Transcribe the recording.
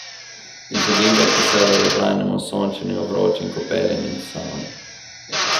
Izogibajte se dolgotrajnemu sončenju, vročim kopelim in savni.